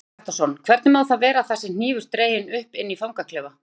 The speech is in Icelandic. Hjörtur Hjartarson: Hvernig má það vera að það sé hnífur dreginn upp inni í fangaklefa?